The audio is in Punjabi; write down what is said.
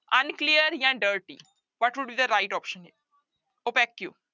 Unclear ਜਾਂ dirty what would be the right option, opaque